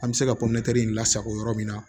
An bɛ se ka lasako yɔrɔ min na